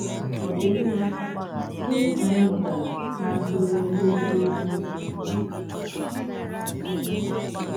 Ọ dị mma, gịnị ka anyị mụtara n’aka Onye Nkuzi Ukwu?